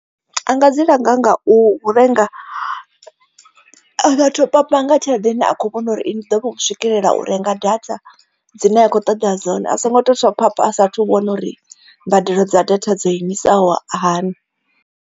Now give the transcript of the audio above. Anga dzi langa nga u renga a nga top upper nga tshelede ine a kho vhona uri ndi ḓo vha u swikelela u renga data dzine a kho ṱoḓa dzone a songo to top upper swapha a sathu vhona uri mbadelo dza data dzo imisaho hani.